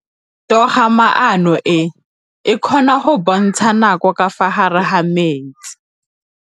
Toga-maanô e, e kgona go bontsha nakô ka fa gare ga metsi.